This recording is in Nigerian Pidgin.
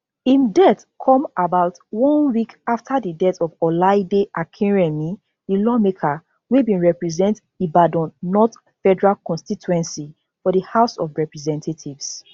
im death come about one week afta di death of olaide akinremi di lawmaker wey represent ibadan north federal constituency for di house of representatives